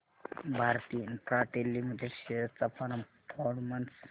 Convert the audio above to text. Bharti Infratel limited shares चा performance